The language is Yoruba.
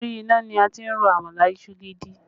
Orí iná ni a ti ń ro àmàlà ìṣù gidi